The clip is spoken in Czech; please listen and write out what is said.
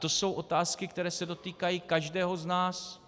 To jsou otázky, které se dotýkají každého z nás.